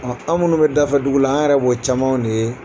an minnu bɛ da fɛ dugu la an yɛrɛ b'ɔ camanw de ye.